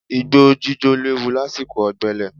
Igbó jíjó léwu lásìkò ọ̀gbẹlẹ̀.